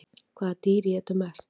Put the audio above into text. Hvaða dýr étur mest?